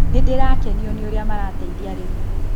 Nĩndĩrakenio nĩ ũrĩa marateithia arĩmi